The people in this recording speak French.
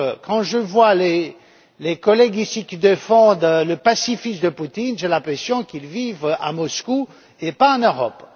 Quand je vois les collègues, ici, qui défendent le pacifisme de Poutine, j'ai l'impression qu'ils vivent à Moscou et pas en Europe.